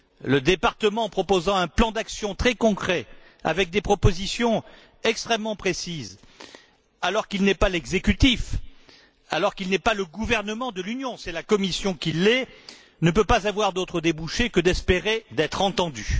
Le Parlement proposant un plan d'action très concret, avec des propositions extrêmement précises, alors qu'il n'est pas l'exécutif, alors qu'il n'est pas le gouvernement de l'Union c'est la Commission qui l'est ne peut rien espérer d'autre que d'être entendu.